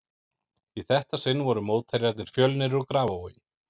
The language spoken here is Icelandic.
Í þetta sinn voru mótherjarnir Fjölnir úr Grafarvogi.